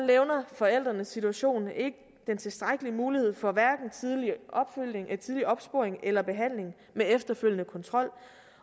levner forældrenes situation ikke den tilstrækkelige mulighed for tidlig opsporing eller behandling med efterfølgende kontrol